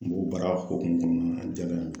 M'o baara hokumu kɔnɔna na a diyara n ye.